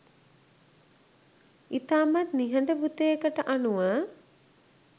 ඉතාමත් නිහඬ වුතයකට අනුව